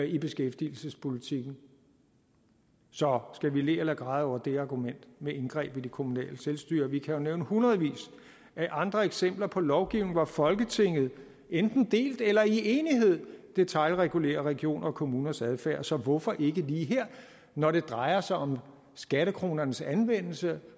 i beskæftigelsespolitikken så skal vi le eller græde over det argument med indgreb i det kommunale selvstyre vi kan jo nævne hundredvis af andre eksempler på lovgivning hvor folketinget enten delt eller i enighed detailregulerer regioner og kommuners adfærd så hvorfor ikke lige her når det drejer sig om skattekronernes anvendelse